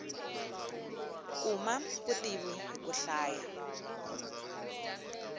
kuma vutivi hiku hlaya